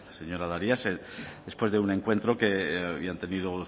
señora darias después de un encuentro que habían tenido